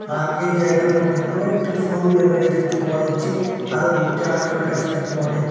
আর এই জায়গার মধ্যে কয়েকটি ফোরহুইলার গাড়ি দেখতে পাওয়া যাচ্ছে আরও দুইটা ট্রেভেলারসও দেখতে পাওয়া যাচ্ছে।